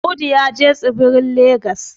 Audu ya je tsibirin legas